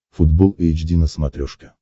футбол эйч ди на смотрешке